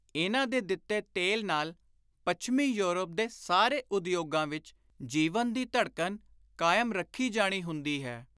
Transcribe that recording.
ਇਨ੍ਹਾਂ ਦੇ ਦਿੱਤੇ ਤੇਲ ਨਾਲ ਪੱਛਮੀ ਯੌਰਪ ਦੇ ਸਾਰੇ ਉਦਯੋਗਾਂ ਵਿਚ ਜੀਵਨ ਦੀ ਧੜਕਣ ਕਾਇਮ ਰੱਖੀ ਜਾਣੀ ਹੁੰਦੀ ਹੈ।